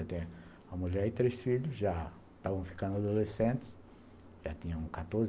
Eu tenho uma mulher e três filhos, já estavam ficando adolescentes, já tinham quatorze